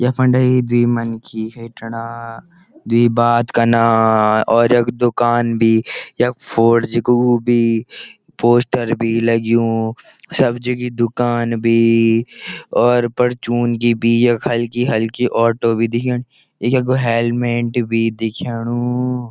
यख्फुंडे द्वि मनखी हिटना द्वि बात कना और यख दूकान भी यख फोर जी कु वू भी पोस्टर भी लग्युं सब जगी दूकान भी और परचून की भी यख हलकी-हलकी ऑटो भी दिखेंण यख हेलमेट भी दिख्याणु।